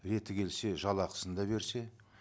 реті келсе жалақысын да берсе